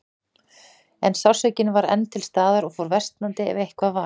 En sársaukinn var enn til staðar og fór versnandi, ef eitthvað var.